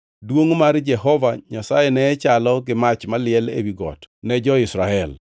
Duongʼ mar Jehova Nyasaye ne chalo gi mach maliel ewi got ne jo-Israel.